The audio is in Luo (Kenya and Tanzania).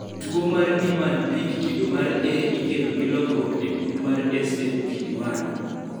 tuo mar Niemann Pick kido mar A ikelo gi lokruok e gund mar SMPD1